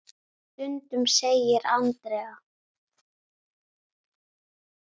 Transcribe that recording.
Stundum segir Andrea.